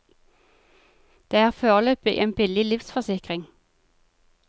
Det er foreløpig en billig livsforsikring.